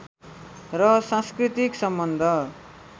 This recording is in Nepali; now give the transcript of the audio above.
र सांस्कृतिक सम्बन्ध